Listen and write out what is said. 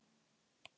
bara allt